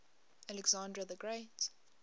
alexander the great